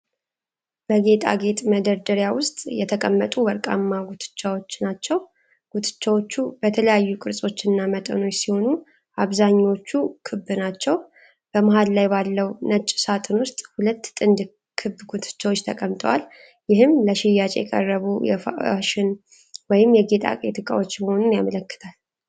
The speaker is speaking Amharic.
በጌጣጌጥ መደርደሪያ ውስጥ የተቀመጡ ወርቃማ ጉትቻዎች ናቸው። ጉትቻዎቹ በተለያዩ ቅርጾችና መጠኖች ሲሆኑ፣ አብዛኛዎቹ ክብ ናቸው። በመሃሉ ላይ ባለው ነጭ ሳጥን ውስጥ ሁለት ጥንድ ክብ ጉትቻዎች ተቀምጠዋል። ይህም ለሽያጭ የቀረቡ የፋሽን ወይም የጌጣጌጥ ዕቃዎች መሆኑን ያመለክታል።